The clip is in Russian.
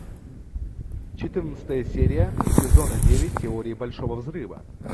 четырнадцатая серия сезона девять теории большого взрыва